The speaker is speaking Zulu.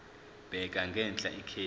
bheka ngenhla ikheli